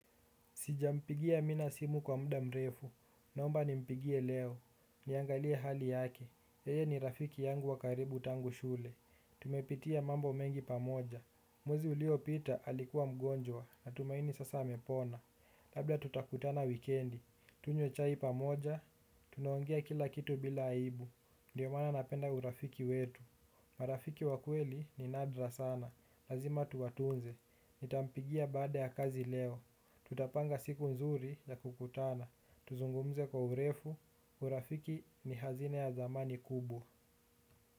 Sijampigia amina simu kwa mda mrefu. Naomba nimpigie leo. Niangalie hali yake. Eye ni rafiki yangu wa karibu tangu shule. Tumepitia mambo mengi pamoja. Mwezi uliopita alikuwa mgonjwa natumaini sasa amepona. Labda tutakutana wikendi. Tunywe chai pamoja. Tunaongea kila kitu bila aibu. Ndiyo maana napenda urafiki wetu. Marafiki wakweli ni nadra sana, lazima tuwatunze, nitampigia baada ya kazi leo, tutapanga siku nzuri ya kukutana, tuzungumze kwa urefu, urafiki ni hazina ya dhamani kubwa.